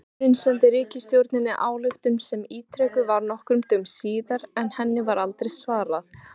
Fundurinn sendi ríkisstjórninni ályktun sem ítrekuð var nokkrum dögum síðar, en henni var aldrei svarað.